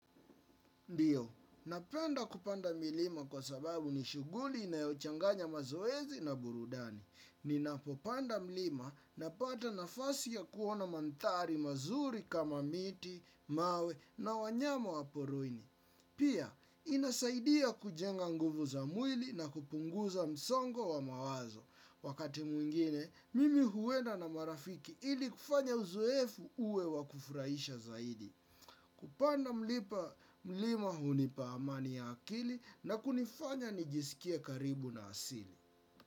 Ndio, napenda kupanda milima kwa sababu ni shughuli inayochanganya mazoezi na burudani. Ninapopanda mlima napata nafasi ya kuona mandhari mazuri kama miti, mawe na wanyama wa porini. Pia, inasaidia kujenga nguvu za mwili na kupunguza msongo wa mawazo. Wakati mwingine, mimi huenda na marafiki ili kufanya uzoefu uwe wa kufurahisha zaidi. Kupanda mlima hunipa amani ya akili na kunifanya nijisikie karibu na asili.